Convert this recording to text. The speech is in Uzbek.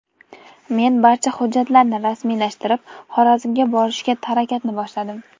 Men barcha hujjatlarni rasmiylashtirib, Xorazmga borishga harakatni boshladim.